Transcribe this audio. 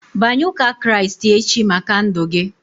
Banye ụka Kraịst echi maka ndụ gị!